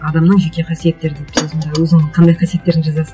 адамның жеке қасиеттері дейді сен сонда өзіңнің қандай қасиеттеріңді жазасың